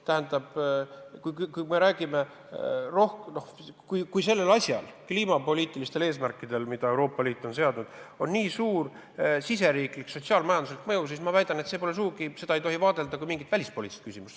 Tähendab, kui sellel asjal – kliimapoliitilistel eesmärkidel, mis Euroopa Liit on seadnud – on nii suur riigisisene sotsiaal-majanduslik mõju, siis ma väidan, et seda ei tohi sugugi vaadelda kui mingit välispoliitilist küsimust.